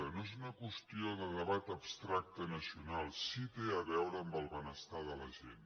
no és una qüestió de debat abstracte nacional sí que té a veure amb el benestar de la gent